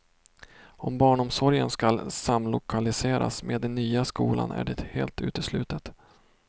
Om barnomsorgen skall samlokaliseras med den nya skolan är det helt uteslutet.